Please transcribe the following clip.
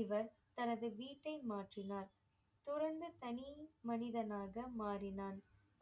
இவர் தனது வீட்டை மாற்றினார் தொடர்ந்து தனி மனிதனாக மாறினான்